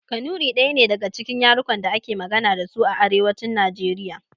Kanuri ɗaya ne daga cikin yarukan da ake magana dasu a arewacin najeriya